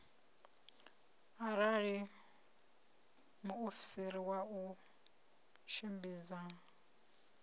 arali muofisiri wa u tshimbidza